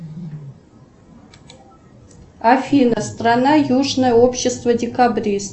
афина страна южное общество декабрист